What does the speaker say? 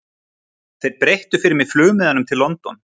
Þeir breyttu fyrir mig flugmiðanum til London.